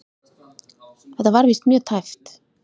Þetta var víst mjög tæpt.